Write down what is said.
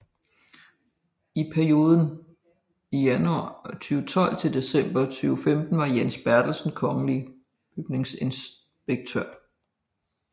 I perioden januar 2012 til december 2015 var Jens Bertelsen kongelig bygningsinspektør